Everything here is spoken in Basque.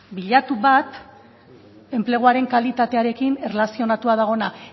bilatu bat enpleguaren kalitatearekin erlazionatua dagoen